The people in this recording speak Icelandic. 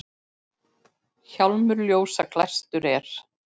Hjálmur ljósa glæstur er.